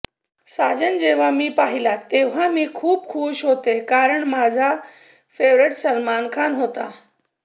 साजन जेव्हा मी पाहिला तेव्हा मी खूप खूश होते कारण माझा फेव्हरिट सलमान खान होता